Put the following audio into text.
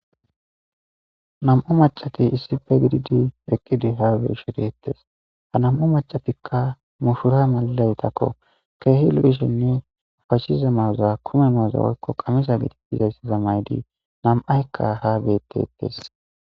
nam7u macati isife dididi eqqidi habeshi deettes ha nam7u macatikka muhura malalaytakko keehi lu7ishenne ufashiza mawuza kume mawuza woykko qamisa giditizayssi za maydi nam7aykka ha betetes